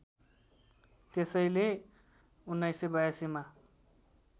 त्यसैले १९८२ मा